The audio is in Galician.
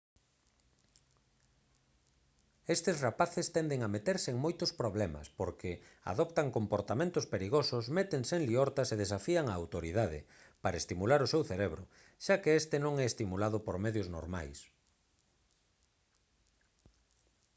estes rapaces tenden a meterse en moitos problemas porque «adoptan comportamentos perigosos métense en liortas e desafían á autoridade» para estimular o seu cerebro xa que este non é estimulado por medios normais